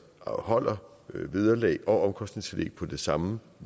holder vederlag og omkostningstillæg på det samme